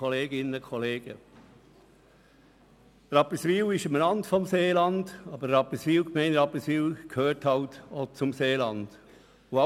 Und alle hier im Rat, die im Seeland wohnen, fühlen sich auch als Seeländer.